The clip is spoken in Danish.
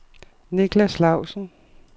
Niklas Lausen